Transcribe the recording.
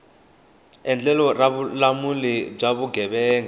endlelo ra vululami bya vugevenga